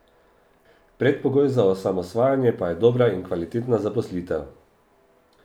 Predpogoj za osamosvajanje pa je dobra in kvalitetna zaposlitev.